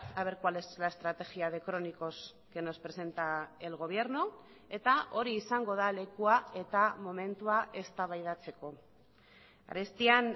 a ver cuál es la estrategia de crónicos que nos presenta el gobierno eta hori izango da lekua eta momentua eztabaidatzeko arestian